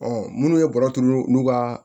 minnu ye bɔrɔturu n'u ka